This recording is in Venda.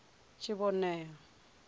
tshinovhea